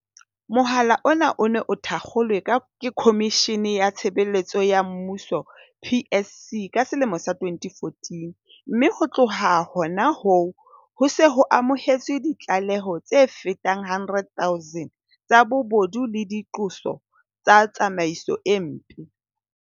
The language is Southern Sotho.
Mohala ona o ne o thakgolwe ke Khomishene ya Tshebeletso ya Mmuso, PSC, ka selemo sa 2014, mme ho tloha hona hoo, ho se ho amohetswe ditlaleho tse fetang 100 000 tsa bobodu le diqoso tsa tsamaiso e mpe.